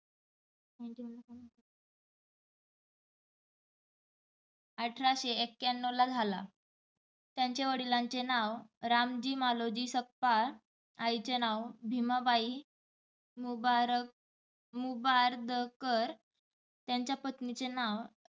अठराशे एककयाणणव ला झाला. त्यांचा वडिलांचे नाव रामजी मालोजी सकपाळ, आई चे नाव भिमाबाई मुबारक मुबारदकर, त्यांच्या पत्नीचे नाव